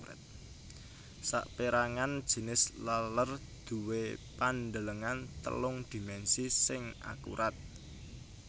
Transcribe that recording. Sapérangan jinis laler duwé pandelengan telung dhimènsi sing akurat